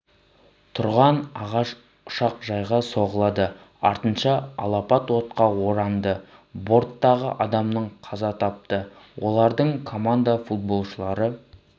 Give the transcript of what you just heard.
тұрған ағаш ұшақжайға соғылады артынша алапат отқа оранды борттағы адамның қаза тапты олардың команда футболшылары